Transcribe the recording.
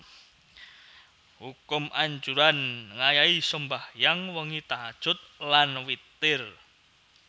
Hukum Anjuran ngayahi sembahyang wengi tahajjud lan witir